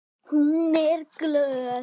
Hún er glöð.